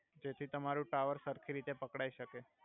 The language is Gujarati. જેથી તમારુ ટાવર સરખી રીતે પકડાઈ સકે